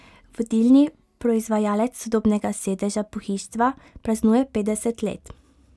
Vodilni proizvajalec sodobnega sedežnega pohištva praznuje petdeset let.